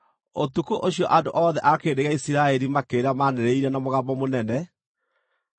Ũtukũ ũcio andũ othe a kĩrĩndĩ gĩa Isiraeli makĩrĩra maanĩrĩire na mũgambo mũnene.